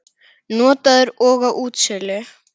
Notaður og á útsölu